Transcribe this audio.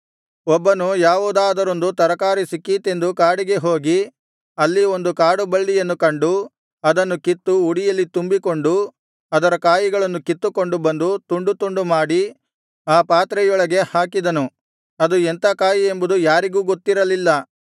ಒಬ್ಬನು ಯಾವುದಾದರೊಂದು ತರಕಾರಿ ಸಿಕ್ಕೀತೆಂದು ಕಾಡಿಗೆ ಹೋಗಿ ಅಲ್ಲಿ ಒಂದು ಕಾಡುಬಳ್ಳಿಯನ್ನು ಕಂಡು ಅದನ್ನು ಕಿತ್ತು ಉಡಿಯಲ್ಲಿ ತುಂಬಿಕೊಂಡು ಅದರ ಕಾಯಿಗಳನ್ನು ಕಿತ್ತುಕೊಂಡು ಬಂದು ತುಂಡು ತುಂಡು ಮಾಡಿ ಆ ಪಾತ್ರೆಯೊಳಗೆ ಹಾಕಿದನು ಅದು ಎಂಥ ಕಾಯಿಯೆಂಬುದು ಯಾರಿಗೂ ಗೊತ್ತಿರಲಿಲ್ಲ